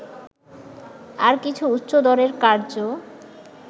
আর কিছু উচ্চদরের কার্য্য